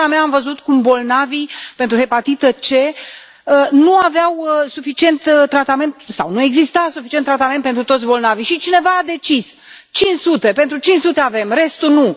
În țara mea am văzut cum bolnavii de hepatită C nu aveau suficient tratament sau nu exista suficient tratament pentru toți bolnavii și cineva a decis cinci sute, pentru cinci sute avem, restul nu.